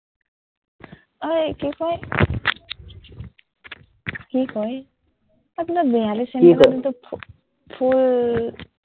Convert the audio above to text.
ঐ কি কয়, কি কয়, বিহালীৰ ফুল